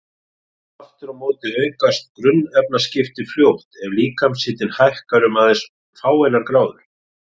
Aftur á móti aukast grunnefnaskipti fljótt ef líkamshitinn hækkar um aðeins fáeinar gráður.